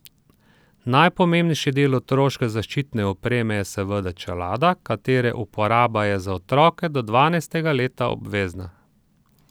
Najpomembnejši del otroške zaščitne opreme je seveda čelada, katere uporaba je za otroke do dvanajstega leta obvezna.